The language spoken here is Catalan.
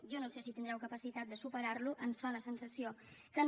jo no sé si tindreu capacitat de superar lo ens fa la sensació que no